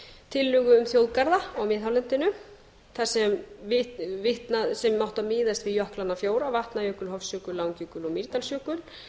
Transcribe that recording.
tillögu um þjóðgarða á miðhálendinu sem áttu að miðast við jöklana fjóra vatnajökul hofsjökul langjökul og mýrdalsjökul